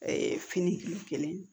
fini kelen